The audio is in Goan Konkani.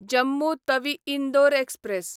जम्मू तवी इंदोर एक्सप्रॅस